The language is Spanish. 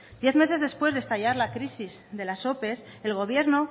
diez meses después de estallar la crisis de las ope el gobierno